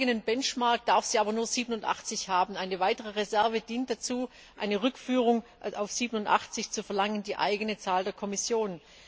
Nach eigenem Benchmark darf sie aber nur 87 haben. Eine weitere Reserve dient dazu, eine Rückführung auf 87 zu verlangen, die eigene Zahl der Kommission.